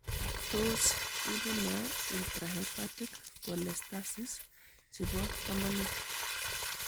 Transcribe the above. Tos ibunee Intrahepatic cholestasis chebo tomonet?